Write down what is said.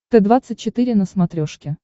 т двадцать четыре на смотрешке